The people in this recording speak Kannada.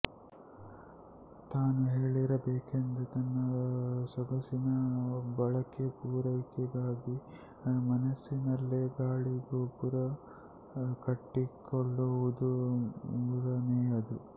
ತಾನು ಹೇಗಿರಬೇಕೆಂದು ತನ್ನ ಸೊಗಸಿನ ಬಯಕೆ ಪೂರೈಕೆಗಾಗಿ ಮನಸ್ಸಿನಲ್ಲೆ ಗಾಳಿ ಗೋಪುರ ಕಟ್ಟಿಕೊಳ್ಳುವುದು ಮೂರನೆಯದು